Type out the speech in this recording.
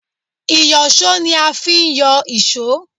Ìyọ̀ṣó ni a fi ń yọ èṣó